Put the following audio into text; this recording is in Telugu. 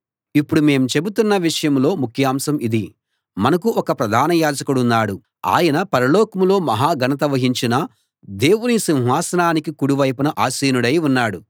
ఇప్పుడు మేం చెబుతున్న విషయంలో ముఖ్యాంశం ఇది మనకు ఒక ప్రధాన యాజకుడున్నాడు ఆయన పరలోకంలో మహా ఘనత వహించిన దేవుని సింహాసనానికి కుడివైపున ఆసీనుడై ఉన్నాడు